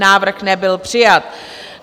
Návrh nebyl přijat.